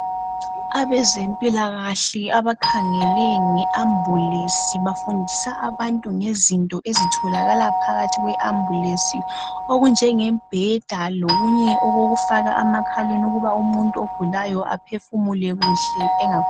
Abezempilakahle abakhangele nge Ambulance bafundisa abantu ngezinto ezitholakala phakathi kwe Ambulance okunjenge mbheda lokunye okokufakwa emakhaleni ukubana umuntu ogulayo aphefumule kuhle.